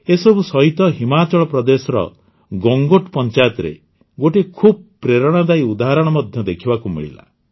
ଏସବୁ ସହିତ ହିମାଚଳ ପ୍ରଦେଶର ଗଙ୍ଗୋଟ୍ ପଂଚାୟତରେ ଗୋଟିଏ ଖୁବ ପ୍ରେରଣାଦାୟୀ ଉଦାହରଣ ମଧ୍ୟ ଦେଖିବାକୁ ମିଳିଲା